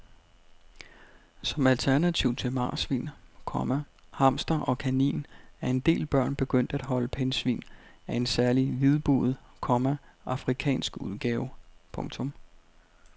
Som alternativ til marsvin, komma hamster og kanin er en del børn begyndt at holde pindsvin af en særlig hvidbuget, komma afrikansk udgave. punktum